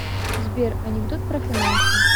сбер анекдот про финансы